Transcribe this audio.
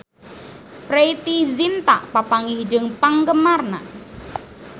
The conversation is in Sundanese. Preity Zinta papanggih jeung penggemarna